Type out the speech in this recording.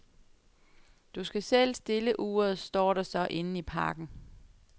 Du skal selv stille uret, står der så inden i pakken.